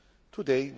Today,